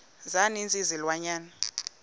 za ninzi izilwanyana